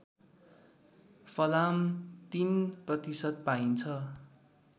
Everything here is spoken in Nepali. फलाम ०३ प्रतिशत पाइन्छ